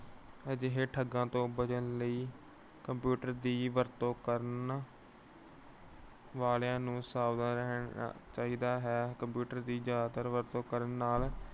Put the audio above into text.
ਅਜਿਹੇ ਠੱਗਾਂ ਤੋਂ ਬਚਣ ਲਈ computer ਦੀ ਵਰਤੋਂ ਕਰਨ ਵਾਲਿਆਂ ਨੂੰ ਸਾਵਧਾਨ ਰਹਿਣਾ ਚਾਹੀਦਾ ਹੈ। computer ਦੀ ਜਿਆਦਾ ਵਰਤੋਂ ਕਰਨ ਨਾਲ